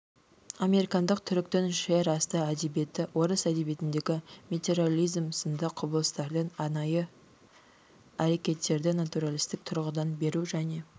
американдық түріктің жерасты әдебиеті орыс әдебиетіндегі метареализм сынды құбылыстардың анайы әрекеттерді натуралистік тұрғыдан беру және